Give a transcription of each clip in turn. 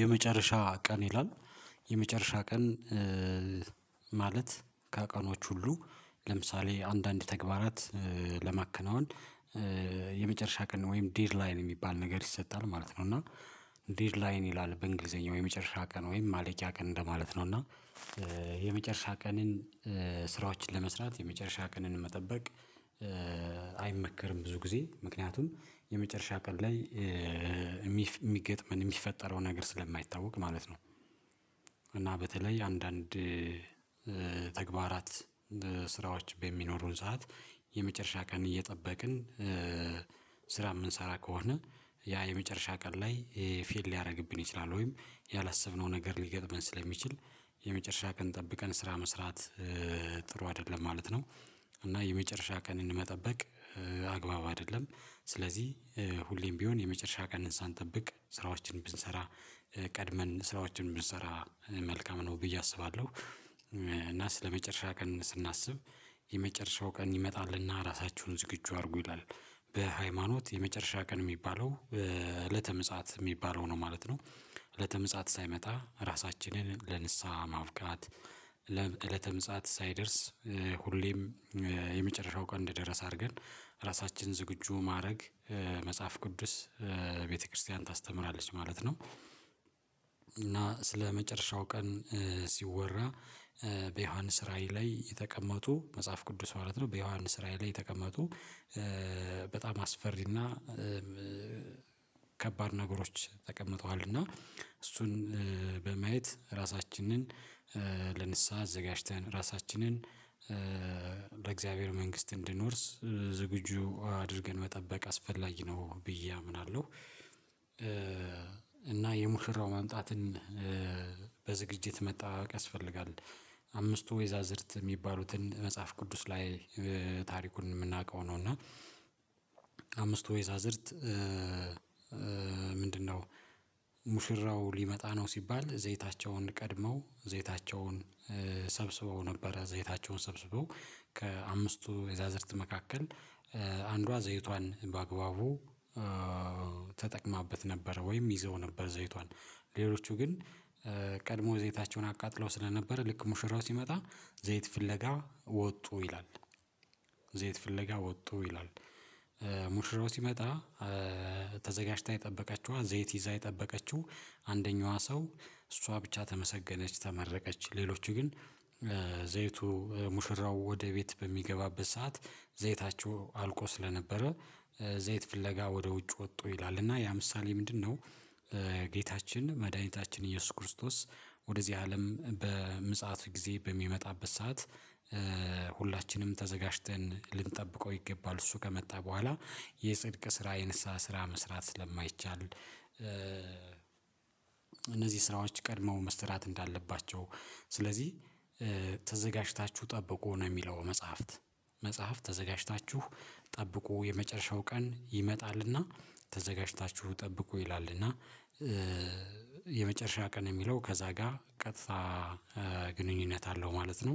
የመጨረሻ ቀን ይላል የመጨረሻ ቀን ከቀኖች ሁሉ ለምሳሌ አንዳንድ ተግባራት ለማከናወን የመጨረሻ ቀን ወይም ዴድ ላይን የሚባል ነገር ይሰጣል ማለት ነው። እና ዴድ ላይን ይላል በእንግሊዘኛው የመጨረሻ ቀን ወይም ማለቂያ ቀን እንደማለት ነው። እና የመጨረሻ ቀንን ስራዎችን ለመስራት የመጨረሻ ቀንን መጠበቅ አይመከርም ብዙ ጊዜ ምክንያቱም የመጨረሻ ቀን ላይ የሚገጥመን የሚፈጠረው ነገር ስለማይታወቅ ማለት ነው። እና በተለይ አንዳንድ ተግባራት ስራዎች በሚኖሩን ሰዓት የመጨረሻ ቀን እየጠበቅን ስራ የምንሰራ ከሆነ ያ የመጨረሻ ቀን ላይ ፌል ሊያደርግብን ይችላል ወይም ያላሰብነው ነገር ሊገጥመን ስለሚችል የመጨረሻ ቀን ጠብቀን ስራ መስራት ጥሩ አይደለም ማለት ነው። እና የመጨረሻ ቀንን መጠበቅ አግባብ አይደለም። ስለዚህ ሁሌም ቢሆን የመጨረሻ ቀን ሳንጠብቅ ስራዎችን ብንሰራ ቀድመን ስራዎችን ብንሰራ መልካም ነው ብዬ አስባለሁ። እና ስለመጨረሻ ቀን ስናስብ የመጨረሻው ቀን ይመጣልና ራሳችሁን ዝግጁ አድርጉ ይላል በሃይማኖት የመጨረሻ ቀን የሚባለው እለተ ምጽአት የሚባለው ነው ማለት ነው። እለተ ምጽአት ሳይመጣ ራሳችንን ለንስሃ ማብቃት ለእለተ ምጽአት ሳይደርስ ሁሌም የመጨረሻው ቀን እንደደረስ አድርገን ራሳችን ዝግጁ ማድረግ መጽሐፍ ቅዱስ ቤተክርስቲያን ታስተምራለች ማለት ነው። እና ስለመጨረሻው ቀን ሲወራ በዮሐንስ ራዕይ ላይ የተቀመጡ መጽሐፍ ቅዱስ ማለት ነው በዮሐንስ ራዕይ ላይ የተቀመጡ በጣም አስፈሪና ከባድ ነገሮች ተቀምጠዋልና እሱን በማየት ራሳችንን ለንስሃ አዘጋጅተን ራሳችንን ለእግዚአብሔር መንግስት እንድንወርስ ዝግጁ አድርገን መጠበቅ አስፈላጊ ነው ብዬ አምናለሁ። የሙሽራው መምጣትን በዝግጅት መጠባብቅ ያስፈልጋል። አምስቱ ወይዛዝርት የሚባሉትን መጽሐፍ ቅዱስ ላይ ታሪኩን የምናውቀው ነው እና አምስቱ ወይዛዝርት ምንድነው? ሙሽራው ሊመጣ ነው ሲባል ዘይታቸውን ቀድመው ዘይታቸውን ሰብስበው ነበረ ዘይታቸውን ሰብስበው ከአምስቱ የዛዝርት መካከል አንዷ ዘይቷን በአግባቡ ተጠቅማበት ነበር ወይም ይዛው ነበር ዘይቷን ሌሎቹ ግን ቀድሞ ዘይታቸውን አቃጥለው ስለነበረ ልክ ሙሽራው ሲመጣ ዘይት ፍለጋ ወጡ ይላል። ዘይት ፍለጋ ወጡ ይላል። ሙሽራው ሲመጣ ተዘጋጅታ የጠበቀችዋ ዘይት ይዛ የጠበቀችው አንደኛዋ ሰው እሷ ብቻ ተመሰገነች ተመረቀች ሌሎች ግን ዘይቱ ሙሽራው ወደ ቤት በሚገባበት ሰዓት ዘይታቸው አልቆ ስለነበረ ዘይት ፍለጋ ወደ ውጭ ወጥቶ ይላል እና ያ ምሳሌ ምንድነው? ጌታችን መድኃኒታችን ኢየሱስ ክርስቶስ ወደዚህ አለም በምጽአት ጊዜ በሚመጣበት ሰዓት ሁላችንም ተዘጋጅተን ልንጠብቀው ይገባል እሱ ከመጣ በኋላ የጽድቅ ስራ የንስሃ ስራ መስራት ስለማይቻል። እነዚህ ስራዎች ቀድመው መስራት እንዳለባቸው ስለዚህ ተዘጋጅታችሁ ጠብቁ ነው የሚለው መጽሐፍት መጽሐፍት ተዘጋጅታችሁ ጠብቁ የመጨረሻው ቀን ይመጣልና ተዘጋጅታችሁ ጠብቁ ይላል። እና የመጨረሻ ቀን የሚለው ከዛ ጋር ቀጥታ ግንኙነት አለው ማለት ነው።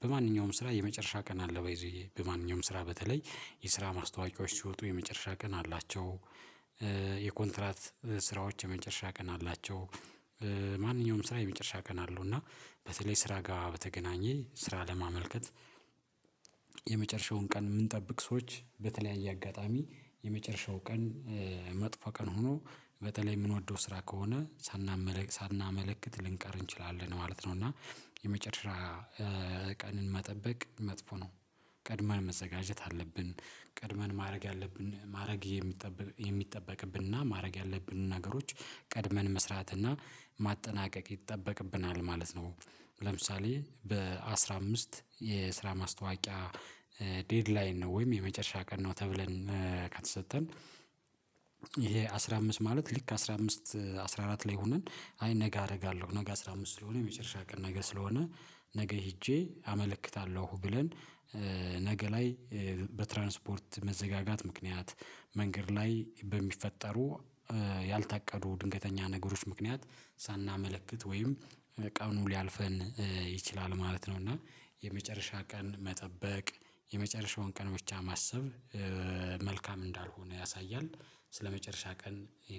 በማንኛውም ስራ የመጨረሻ ቀን አለ ባይ ዘ ዌይ በማንኛውም ስራ በተለይ የስራ ማስታወቂያዎች ሲወጡ የመጨረሻ ቀን አላቸው። የኮንትራት ስራዎች የመጨረሻ ቀን አላቸው። ማንኛውም ስራ የመጨረሻ ቀን አለው እና በተለይ ስራ ጋር በተገናኘ ስራ ለማመልከት። የመጨረሻውን ቀን የምንጠብቅ ሰዎች በተለያየ አጋጣሚ የመጨረሻው ቀን መጥፎ ቀን ሆኖ በተለይ የምንወደው ስራ ከሆነ ሳናመለክት ሳናመለክት ልንቀር እንችላለን ማለት ነው። እና የመጨረሻ ቀንን መጠበቅ መጥፎ ነው። ቀድመን መዘጋጀት አለብን ቀድመን ማድረግ ያለብን ማድረግ የሚጠበቅብንና ማድረግ ያለብንን ነገሮች ቀድመን መስራትና ማጠናቀቅ ይጠበቅብናል ማለት ነው። ለምሳሌ በአሥራ አምስት የስራ ማስታወቂያ ዴድላይን ነው ወይም የመጨረሻ ቀን ነው ተብለን ከተሰጠን። ይሄ አስራ አምስት ማለት ሊክ አስራ አምስት አስራ አራት ላይ ሆነን አይ ነገ አደርጋለሁ ነገ አስራ አምስት ስለሆነ የመጨረሻ ቀን ነገ ስለሆነ ነገ ሄጄ አመለክታለሁ ብለን ነገ ላይ በትራንስፖርት መዘጋጋት ምክንያት መንገድ ላይ በሚፈጠሩ ያልታቀዱ ድንገተኛ ነገሮች ምክንያት ሳናመለክት ወይም ቀኑ ሊያልፈን ይችላል ማለት ነው። እና የመጨረሻ ቀን መጠበቅ የመጨረሻውን ቀን ብቻ ማሰብ መልካም እንዳልሆነ ያሳያል። ስለመጨረሻ ቀን